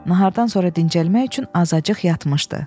Nahardan sonra dincəlmək üçün azacıq yatmışdı.